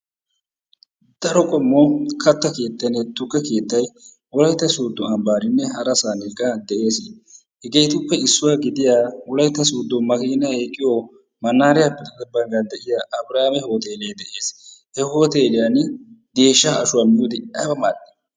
Daro qommo kata keettay nne tukke keettay wolaytta soodo ambaaninne harasan de'ees. hegeetuppe issuwa gidiya wolaytta soodo makkiinay eqqiyo manaariyappe xade baggan de'iya abiraame hoteelee de'ees. he hoteelliyani geeshsha ashuwa miyoode aybba mal'ii